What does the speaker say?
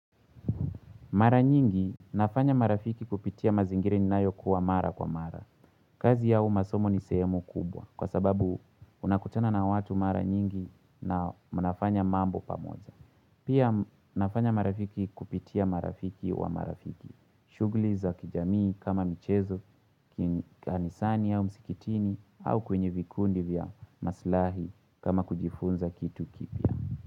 Mara nyingi nafanya marafiki kupitia mazingira ninayokuwa mara kwa mara. Kazi yao masomo ni sehemu kubwa kwa sababu unakutana na watu mara nyingi na mnafanya mambo pamoja. Pia nafanya marafiki kupitia marafiki wa marafiki. Shughuli za kijamii kama michezo kanisani au msikitini au kwenye vikundi vya maslahi kama kujifunza kitu kipya.